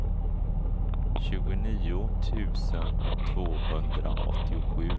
tjugonio tusen tvåhundraåttiosju